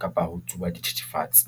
kapa ho tsuba dithithifatse.